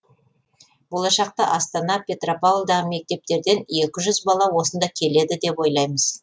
болашақта астана петропавлдағы мектептерден екі жүз бала осында келеді деп ойлаймыз